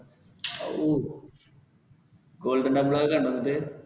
ഓ golden temple ഒക്കെ കണ്ടോ എന്നിട്ട്?